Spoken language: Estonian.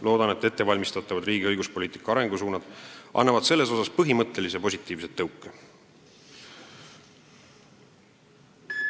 Loodan, et ettevalmistatavad riigi õiguspoliitika arengusuunad annavad siin põhimõttelise positiivse tõuke.